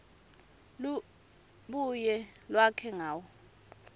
lubuye lwakhe ngayo